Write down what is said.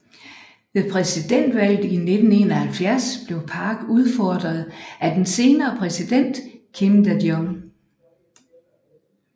Ved præsidentvalget i 1971 blev Park udfordret af den senere præsident Kim Dae Jung